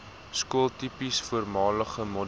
skooltipes voormalige model